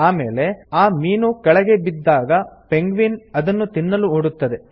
ಆಮೇಲೆ ಆ ಮೀನು ಕೆಳಗೆ ಬಿದ್ದಾಗ ಪೆಂಗ್ವಿನ್ ಅದನ್ನು ತಿನ್ನಲು ಓಡುತ್ತದೆ